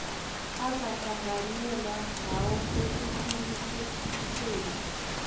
angahlanganyela ngayo ekuqinisekiseni